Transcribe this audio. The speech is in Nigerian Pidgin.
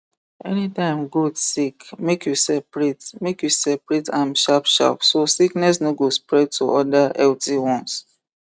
anytime goat sick make you separate make you separate am sharpsharp so sickness no go spread to other healthy ones